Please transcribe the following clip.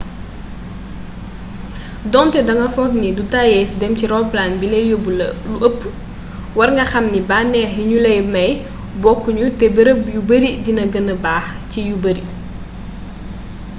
donté danga fookni du tayyéf dém ci roppalan bilay yobb lu ëpp warnga xam bannéx yi gnu lay may bokku ñu té bërëb yu bari dina gennee baax ci yu bari